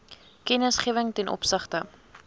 kennisgewing ten opsigte